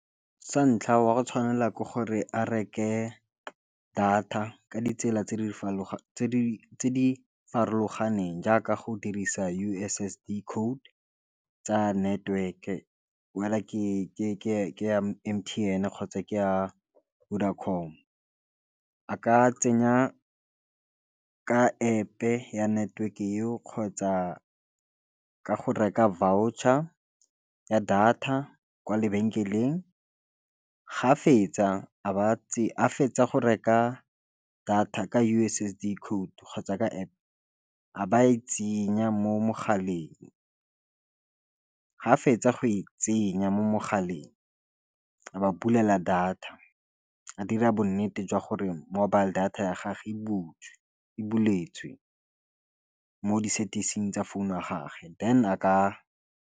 Sa ntlha wa go tshwanela ke gore a reke data ka ditsela tse di farologaneng jaaka go dirisa U_S_S_D code tsa network-e wether ke ya M_T_N kgotsa ke ya Vodacom a ka tsenya ka App e ya network-e eo kgotsa ka go reka voucher ya data kwa lebekeleng ga fetsa a ba a fetsa go reka data ka U_S_S_D code kgotsa ka App a ba e tsenya mo mogaleng, ga fetsa go e tsenya mo mogaleng ba bulela data a dira bo nnete jwa gore mobile data ya gage e buletswe mo di-setting tsa founu ya gage than a ka.